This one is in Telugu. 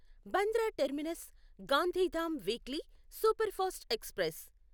Bandra terminus Gandhidham weekly superfast express